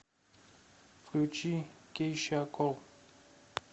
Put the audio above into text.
включи кейша кол